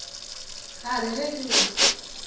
ka re ge ke go